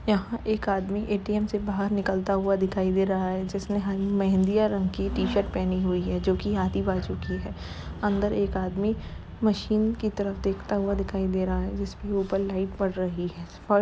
यहाँ एक आदमी ए.टी.एम. से बाहर निकलता हुआ दिखाई दे रहा है जिसने हं मेहंदिया रंग की टी-शर्ट पहनी हुई है जो कि आधी बाजु तक की है। अन्दर एक आदमी मशीन की तरफ देखता हुआ दिखाई दे रहा है जिसके ऊपर लाइट पड़ रही है और --